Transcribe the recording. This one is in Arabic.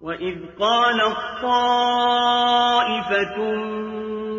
وَإِذْ قَالَت طَّائِفَةٌ